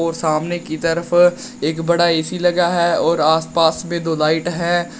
सामने की तरफ एक बड़ा ए_सी लगा है और आस पास में दो लाइट है।